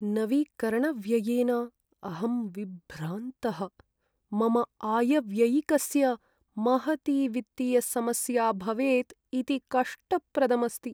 नवीकरणव्ययेन अहं विभ्रान्तः, मम आयव्ययिकस्य महती वित्तीयसमस्या भवेत् इति कष्टप्रदम् अस्ति।